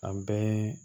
An bɛɛ